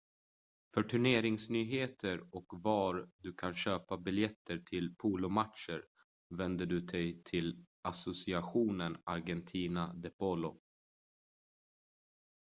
för turneringsnyheter och var du kan köpa biljetter till polomatcher vänder du dig till asociacion argentina de polo